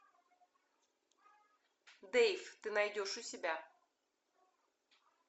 дейв ты найдешь у себя